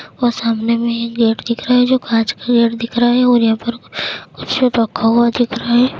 और सामने में ही गेट दिख रहा है जो काँच का गेट दिख रहा है और यहाँ पर कुछ रक्खा हुआ दिख रहा है।